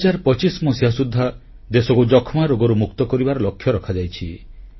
2025 ମସିହା ସୁଦ୍ଧା ଦେଶକୁ ଯକ୍ଷ୍ମାରୋଗରୁ ମୁକ୍ତ କରିବାର ଲକ୍ଷ୍ୟ ରଖାଯାଇଛି